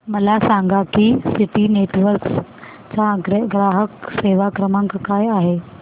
मला सांगा की सिटी नेटवर्क्स चा ग्राहक सेवा क्रमांक काय आहे